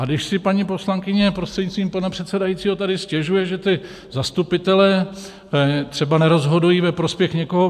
A když si paní poslankyně prostřednictvím pana předsedajícího tady stěžuje, že ti zastupitelé třeba nerozhodují ve prospěch někoho...